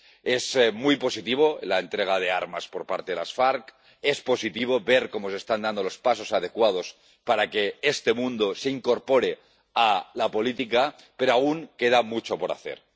Es muy positiva la entrega de armas por parte de las FARC, es positivo ver cómo se están dando los pasos adecuados para que este mundo se incorpore a la política, pero aún queda mucho por hacer.